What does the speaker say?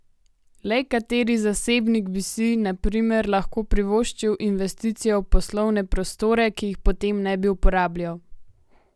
Le kateri zasebnik bi si, na primer, lahko privoščil investicijo v poslovne prostore, ki jih potem ne bi uporabljal?